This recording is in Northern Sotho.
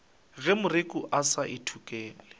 ge moreku a sa ithekole